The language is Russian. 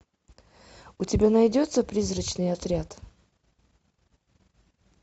у тебя найдется призрачный отряд